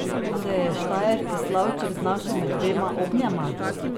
Se je štajerski slavček znašel med dvema ognjema?